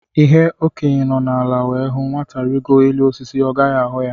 Ihe Okenye nọ ala wee hụ, Nwata rigoo elu osisi, ọ gaghị ahụ ya